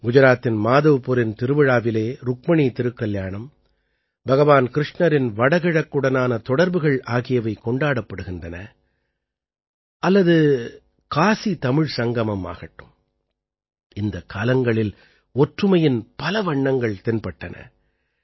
குஜராத்தின் மாதவ்புரின் திருவிழாவிலே ருக்மணி திருக்கல்யாணம் பகவான் கிருஷ்ணரின் வடகிழக்குடனான தொடர்புகள் ஆகியவை கொண்டாடப்படுகின்றன அல்லது காசிதமிழ் சங்கமம் ஆகட்டும் இந்தக் காலங்களில் ஒற்றுமையின் பல வண்ணங்கள் தென்பட்டன